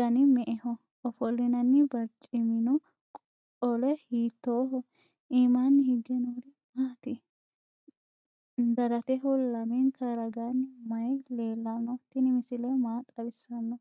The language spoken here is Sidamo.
danni me'eho ? Ofolinnanni bariccimminno qole hiittoho ? iimmanni higge noori maatti ? Daratteho lamenka ragaanni mayi leellanno? Tinni misile maa xawissanno?